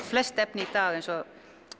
flest efni í dag eins og